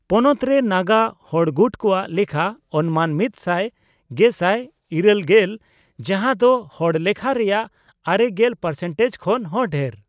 ᱯᱚᱱᱚᱛ ᱨᱮ ᱱᱟᱜᱟ ᱦᱚᱲᱜᱩᱴ ᱠᱚᱣᱟᱜ ᱞᱮᱠᱷᱟ ᱚᱱᱢᱟᱱ ᱢᱤᱛ ᱥᱟᱭ ᱜᱮᱥᱟᱭ ᱘᱐ᱤᱨᱟᱹᱞ ᱜᱮᱞ ᱜᱮᱥᱟᱭ , ᱡᱟᱦᱟᱸ ᱫᱚ ᱦᱚᱲ ᱞᱮᱠᱷᱟ ᱨᱮᱭᱟᱜ ᱟᱨᱮᱜᱮᱞ ᱯᱟᱨᱥᱮᱱᱴᱮᱡᱽ ᱠᱷᱚᱱ ᱦᱚᱸ ᱰᱷᱮᱨ ᱾